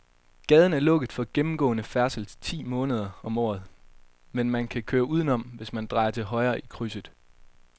Gaden er lukket for gennemgående færdsel ti måneder om året, men man kan køre udenom, hvis man drejer til højre i krydset.